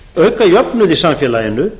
auka jöfnuð í samfélaginu